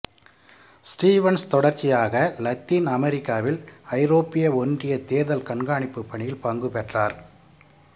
Stevens தொடர்ச்சியாக Latin அமெரிக்காவில் ஐரோப்பிய ஒன்றிய தேர்தல் கண்காணிப்பு பணியில் பங்கு பெற்றார்